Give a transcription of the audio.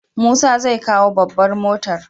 Musa zai kawo babbar motar.